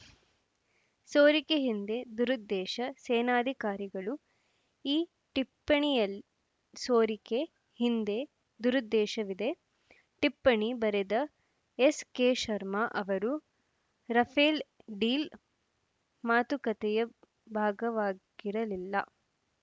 ಸೋರಿಕೆ ಹಿಂದೆ ದುರುದ್ದೇಶ ಸೇನಾಧಿಕಾರಿಗಳು ಈ ಟಿಪ್ಪಣಿಯಲ್ ಸೋರಿಕೆ ಹಿಂದೆ ದುರುದ್ದೇಶವಿದೆ ಟಿಪ್ಪಣಿ ಬರೆದ ಎಸ್‌ಕೆ ಶರ್ಮಾ ಅವರು ರಫೇಲ್‌ ಡೀಲ್‌ ಮಾತುಕತೆಯ ಭಾಗವಾಗಿರಲಿಲ್ಲ